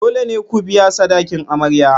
Dole ne ku biya sadakin amarya.